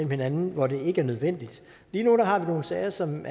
hinanden hvor det ikke er nødvendigt lige nu har vi nogle sager som